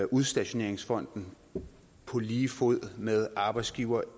udstationeringsfonden på lige fod med arbejdsgivere